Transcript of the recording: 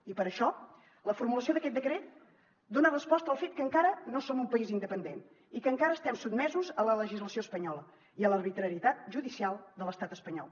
i per això la formulació d’aquest decret dona resposta al fet que encara no som un país independent i que encara estem sotmesos a la legislació espanyola i a l’arbitrarietat judicial de l’estat espanyol